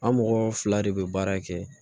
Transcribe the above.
An mɔgɔ fila de bɛ baara kɛ